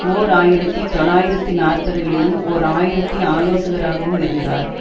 ஓர் ஆயிரத்தி தொள்ளாயிரத்தி நாற்பதுகளிலும் ஓர் ஆயிரத்தி ஆலோசகராகவும் இருந்தார்